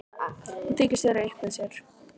Hún þykist vera upp með sér.